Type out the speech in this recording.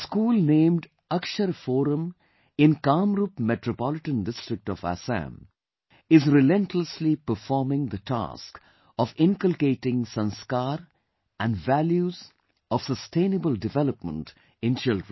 A school named Akshar Forum in Kamrup Metropolitan District of Assam is relentlessly performing the task of inculcating Sanskar & values and values of sustainable development in children